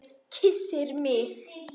Kyssir mig.